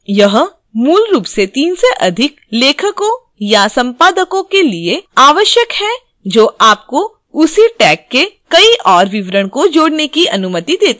यह मूल रूप से 3 से अधिक लेखकों या संपादकों के लिए आवश्यक है जो आपको उसी tag के कई और विवरण जोड़ने की अनुमति details हैं